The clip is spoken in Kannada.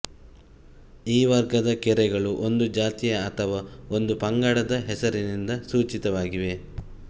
ಈ ವರ್ಗದ ಕೆರೆಗಳು ಒಂದು ಜಾತಿಯ ಅಥವಾ ಒಂದು ಪಂಗಡದ ಹೆಸರಿನಿಂದ ಸೂಚಿತವಾಗಿವೆ